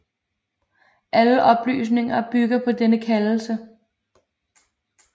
Alle oplysninger bygger på denne kaldelse